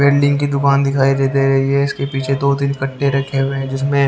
welding की दुकान दिखाई देते रही है इसके पीछे दो तीन कट्टे रखे हुए हैं जिसमे --